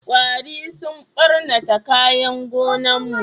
Kwari sun ɓarnata kayan gonan mu